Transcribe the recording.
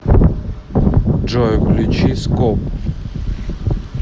джой включи скоп